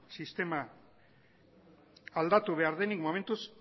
sistema aldatu behar denik momentuz